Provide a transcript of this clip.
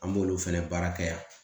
An b'olu fɛnɛ baara kɛ yan